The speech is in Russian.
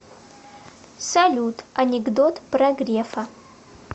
салют анекдот про грефа